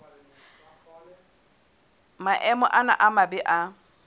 maemo ana a mabe a